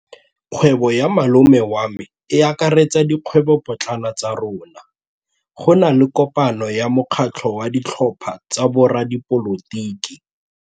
Kgwêbô ya malome wa me e akaretsa dikgwêbôpotlana tsa rona. Go na le kopanô ya mokgatlhô wa ditlhopha tsa boradipolotiki.